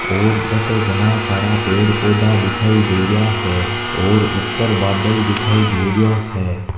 और बटे घना सारा पेड़ पौधा दिखाई दे रिया है और ऊपर बादल दिखाई दे रियो है।